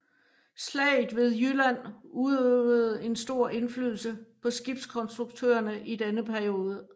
Slaget ved Jylland udøvede en stor indflydelse på skibskonstruktørerne i denne periode